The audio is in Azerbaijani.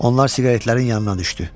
Onlar siqaretlərin yanına düşdü.